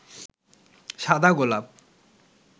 সাদা গোলাপ